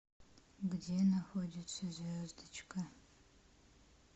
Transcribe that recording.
где находится звездочка